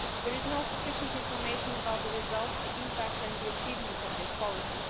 There is insufficient information about the results, the impact and the achievements of this policy.